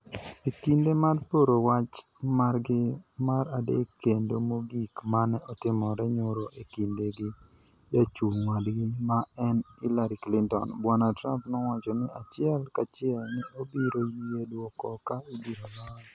E kinde mar poro wach margi mar adek kendo mogik mane otimore nyoro e kinde gi jachung' wadgi ma en Hillary Clinton, Bwana Trump nowacho ni achiel kachiel ni obiro yie dwoko ka ibiro loye.